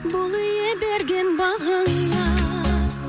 бол ие берген бағыңа